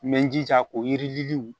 N bɛ n jija k'o yirilw